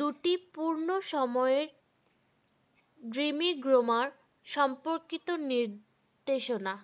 দুটি পূর্ণ সময়ের সম্পর্কিত নির্দেশনা